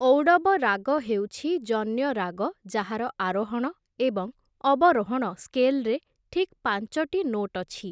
ଔଡ଼ବ ରାଗ ହେଉଛି ଜନ୍ୟ ରାଗ ଯାହାର ଆରୋହଣ ଏବଂ ଅବରୋହଣ ସ୍କେଲ୍‌ରେ ଠିକ୍ ପାଞ୍ଚଟି ନୋଟ୍ ଅଛି ।